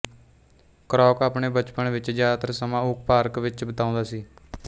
Kroc ਆਪਣੇ ਬਚਪਨ ਵਿੱਚ ਜ਼ਿਆਦਾ ਸਮਾਂ ਓਕ ਪਾਰਕ ਵਿੱਚ ਬਿਤਾਉਂਦਾ ਸੀ